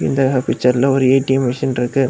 இந்த பிச்சர்ல ஒரு ஏ_டி_எம் மெஷின் இருக்கு.